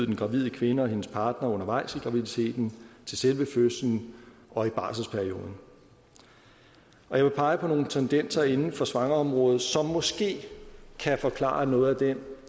den gravide kvinde og hendes partner undervejs i graviditeten til selve fødslen og i barselsperioden jeg vil pege på nogle tendenser inden for svangreområdet som måske kan forklare noget af den